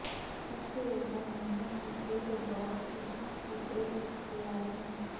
سب سے اوپر مینو سے ایک ڈراپ فہرست کی ایک اختیار ہے